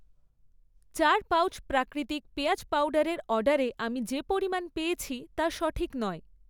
চার পাউচ প্রাকৃতিক পেঁয়াজ পাউডারের অর্ডারে আমি যে পরিমাণ পেয়েছি তা সঠিক নয়।